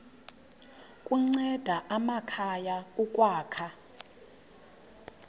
kunceda amakhaya ukwakha